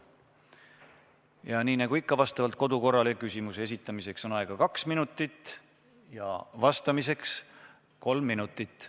Ja nii nagu ikka, vastavalt kodukorrale on küsimuse esitamiseks aega kaks minutit ja vastamiseks kolm minutit.